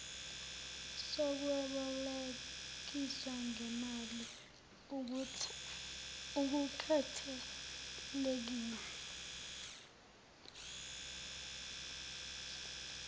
sokwebolekisa ngemali akukhathalekile